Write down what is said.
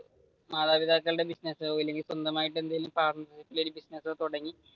മാതാപിതാക്കളുടെ ബിസിനസ്സോ അല്ലെങ്കിൽ സ്വന്തമായിട്ട് എന്തെങ്കിലും പാർട്ണർഷിപ്പ് ഇൽ ബിസിനസ് തുടങ്ങി